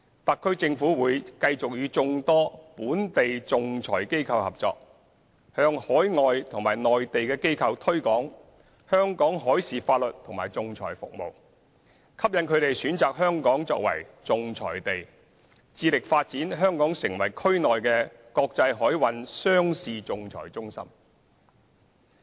特區政府會繼續與眾多本地仲裁機構合作，向海外和內地機構推廣香港海事法律和仲裁服務，吸引它們選擇香港作為仲裁地，致力發展香港成為區內的國際海運商事仲裁中心。